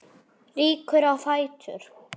Rýkur á fætur.